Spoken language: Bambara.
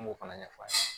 An m'o fana ɲɛfɔ a ɲɛna